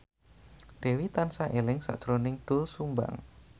Dewi tansah eling sakjroning Doel Sumbang